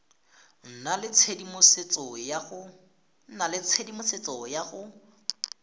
nna le tshedimosetso ya go